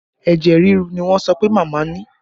Ẹ̀jẹ̀ rírú ni wọ́n sọ pé màmá ni